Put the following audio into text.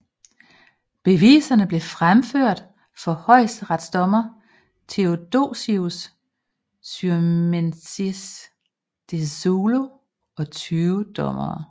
Beviserne blev fremført for højesteretsdommer Theodosious Syrmiensis de Szulo og 20 dommere